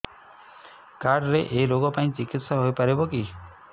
card ରେ ଏଇ ରୋଗ ପାଇଁ ଚିକିତ୍ସା ହେଇପାରିବ କି